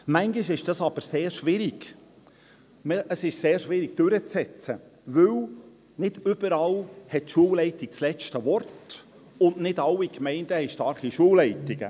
Manchmal ist dies aber sehr schwierig durchzusetzen, denn die Schulleitung hat nicht überall das letzte Wort, und nicht alle Gemeinden haben starke Schulleitungen.